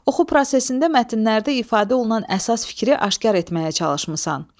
Oxu prosesində mətnlərdə ifadə olunan əsas fikri aşkar etməyə çalışmısan.